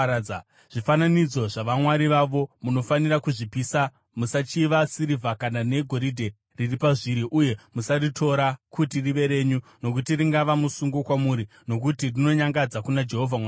Zvifananidzo zvavamwari vavo munofanira kuzvipisa. Musachiva sirivha kana negoridhe riri pazviri, uye musaritora kuti rive renyu, nokuti ringava musungo kwamuri, nokuti rinonyangadza kuna Jehovha Mwari wenyu.